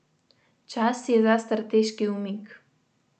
Čas je za strateški umik.